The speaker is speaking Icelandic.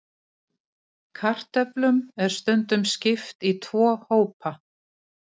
Kartöflum er stundum skipt í tvo hópa.